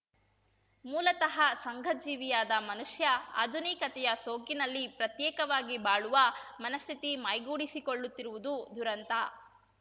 ಮೂಲತಃ ಸಂಘಜೀವಿಯಾದ ಮನುಷ್ಯ ಆಧುನಿಕತೆಯ ಸೋಗಿನಲ್ಲಿ ಪ್ರತ್ಯೇಕವಾಗಿ ಬಾಳುವ ಮನಸ್ಥಿತಿ ಮೈಗೂಡಿಸಿಕೊಳ್ಳುತ್ತಿರುವುದು ದುರಂತ